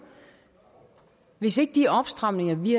hvis ikke de opstramninger vi